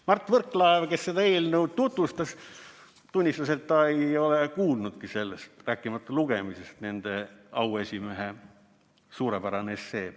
Mart Võrklaev, kes seda eelnõu tutvustas, tunnistas, et ta ei ole kuulnudki sellest, rääkimata lugemisest – nende auesimehe suurepärane essee.